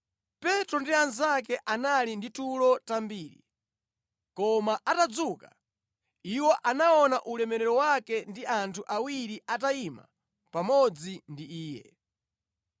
Petro ndi anzake anali ndi tulo tambiri, koma atadzuka, iwo anaona ulemerero wake ndi anthu awiri atayima pamodzi ndi Iye.